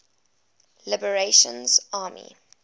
liberation army spla